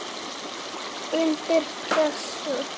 Undir pressu.